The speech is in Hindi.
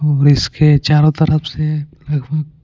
और इसके चारों तरफ से लगभग.